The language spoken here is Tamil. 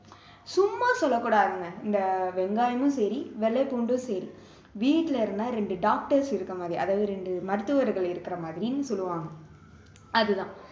சும்மா சொல்லக்கூடாதுங்க இந்த வெங்காயமும் சரி வெள்ளை பூண்டும் சரி வீட்டுல இருந்தா ரெண்டு doctors இருக்கிற மாதிரி அதாவது இரண்டு மருத்துவர்கள் இருக்கிற மாதிரின்னு சொல்லுவாங்க அது தான்